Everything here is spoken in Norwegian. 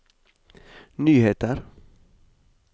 nyheter